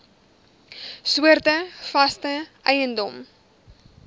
soorte vaste eiendom